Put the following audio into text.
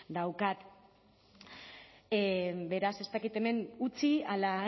daukat beraz ez dakit hemen utzi ala